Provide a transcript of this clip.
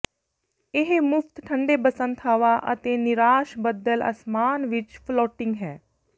ਇਹ ਮੁਫ਼ਤ ਠੰਡੇ ਬਸੰਤ ਹਵਾ ਅਤੇ ਨਿਰਾਸ਼ ਬੱਦਲ ਅਸਮਾਨ ਵਿਚ ਫਲੋਟਿੰਗ ਹੈ